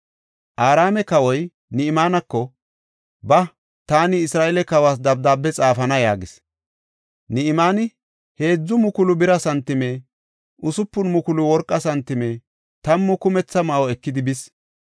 Araame kawoy Ni7imaaneko, “Ba, taani Isra7eele kawas dabdaabe xaafana” yaagis. Ni7imaani 3,000 bira santime, 6,000 worqa santime tammu kumetha ma7o ekidi bis.